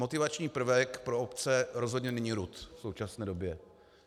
Motivační prvek pro obce rozhodně není RUD v současné době.